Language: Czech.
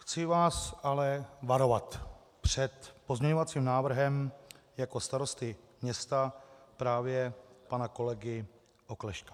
Chci vás ale varovat před pozměňovacím návrhem jako starosty města právě pana kolegy Oklešťka.